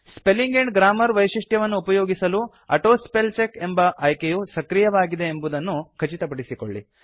spelling and grammar ವೈಶಿಷ್ಟ್ಯವನ್ನು ಉಪಯೋಗಿಸಲು auto spellcheck ಎಂಬ ಆಯ್ಕೆಯು ಸಕ್ರಿಯವಾಗಿದೆಂಬುದನ್ನು ಖಚಿತಪಡಿಸಿಕೊಳ್ಳಿ